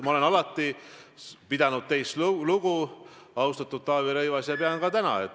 Prokuratuuri poliitiliselt millekski sundida, talle midagi keelata ei ole Eestis võimalik.